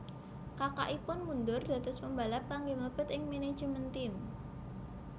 Kakakipun mundur dados pembalap kangge mlebet ing manajemen tim